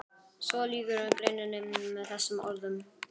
Svo lýkur greininni með þessum orðum